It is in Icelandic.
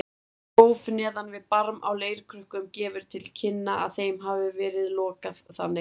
Gróf neðan við barm á leirkrukkum gefur til kynna að þeim hafi verið lokað þannig.